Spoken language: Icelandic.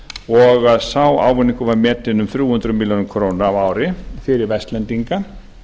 og sá ávinningur var metinn um þrjú hundruð milljóna króna á ári fyrir vestlendinga